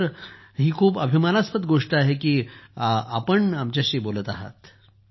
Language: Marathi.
सर आमच्यासाठी ही खूप अभिमानास्पद गोष्ट आहे की आपण आमच्याशी बोलत आहात